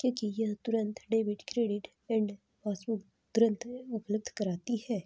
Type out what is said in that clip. क्योंकि यह तुरंत डेबिट क्रेडिट एंड पासबुक तुरंत उपलब्ध कराती हैं।